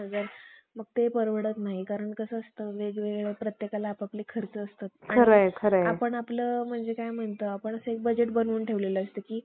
वाऱ्यास देखील उभे राहू नये. म्हणून उपदेश करून उगीच तरी बसले नाही. पण त्यांनी संधी साधल्याबरोबर त्याच ग्रंथातील